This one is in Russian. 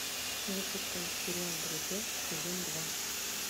запускай сериал друзья сезон два